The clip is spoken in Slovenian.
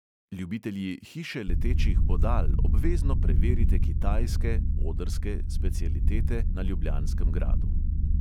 Ljubitelji hiše letečih bodal obvezno preverite kitajske specialitete na ljubljanskem gradu.